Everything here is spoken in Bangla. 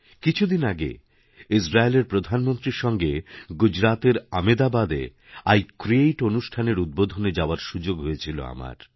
কিছুদিন আগে ইজরায়েলেরপ্রধানমন্ত্রীর সঙ্গে গুজরাতের আমেদাবাদে আই ক্রিয়েট অনুষ্ঠানের উদ্বোধনে যাওয়ারসুযোগ হয়েছিল আমার